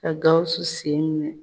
Ka Gawusu sen minɛ.